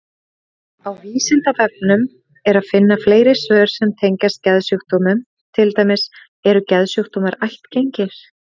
Ég enda tímabils þarf ég að fara að klára þessa ákvörðun.